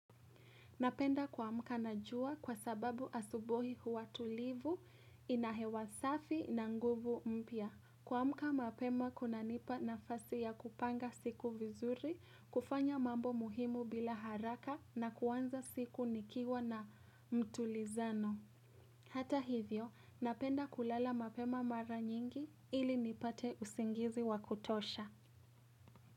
Napenda kuamka na jua kwa sababu asubuhi huwa tulivu ina hewa safi na nguvu mpya. Kuamka mapema kunanipa nafasi ya kupanga siku vizuri, kufanya mambo muhimu bila haraka na kuanza siku nikiwa na mtulizano. Hata hivyo, napenda kulala mapema mara nyingi ili nipate usingizi wa kutosha.